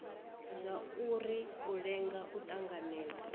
zwauri u lenga u tanganedzwa